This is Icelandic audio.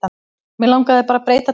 Mig langaði bara að breyta til.